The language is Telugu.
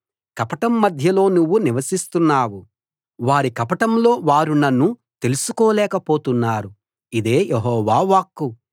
కపటం మధ్యలో నువ్వు నివసిస్తున్నావు వారి కపటంలో వారు నన్ను తెలుసుకోలేక పోతున్నారు ఇదే యెహోవా వాక్కు